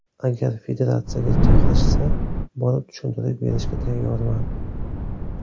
Agar federatsiyaga chaqirishsa, borib tushuntirish berishga tayyorman.